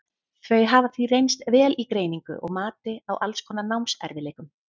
þau hafa því reynst vel í greiningu og mati á alls konar námserfiðleikum